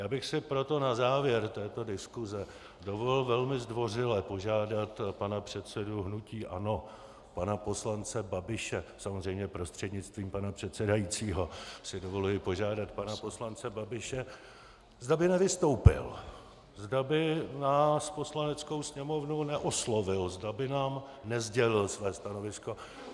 Já bych si proto na závěr této diskuse dovolil velmi zdvořile požádat pana předsedu hnutí ANO, pana poslance Babiše, samozřejmě prostřednictvím pana předsedajícího si dovoluji požádat pana poslance Babiše, zda by nevystoupil, zda by nás, Poslaneckou sněmovnu, neoslovil, zda by nám nesdělil své stanovisko.